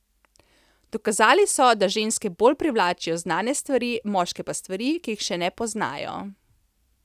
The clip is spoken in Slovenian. Dokazali so, da ženske bolj privlačijo znane stvari, moške pa stvari, ki jih še ne poznajo.